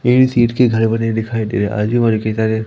AD सीट के घर बने दिखाई दे रहे के तरह।